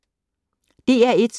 DR1